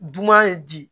Dunan ye di